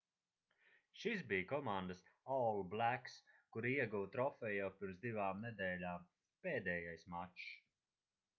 šis bija komandas all blacks kura ieguva trofeju jau pirms divām nedēļām pēdējais mačs